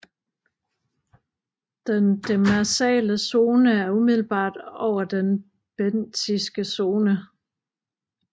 Den demersale zone er umiddelbart over den bentiske zone